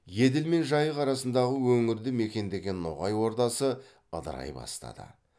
еділ мен жайық арасындағы өңірді мекендеген ноғай ордасы ыдырай бастады